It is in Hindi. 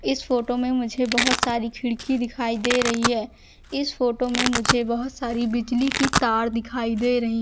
इस फोटो में मुझे बहोत सारी खिड़की दिखाई दे रही है इस फोटो में मुझे बहोत सारी बिजली की तार दिखाई दे रहीं --